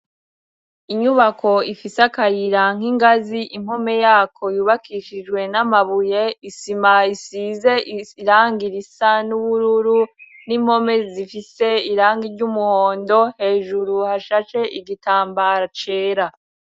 Inyubako ifise akayira nk' ingazi impome yako yubakishijwe n'amabuye ,isima isize irangi risa n'ubururu n'impome zifise irangi ry'umuhondo ,hejuru hashashe igitambara cera.